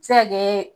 Se ka kɛ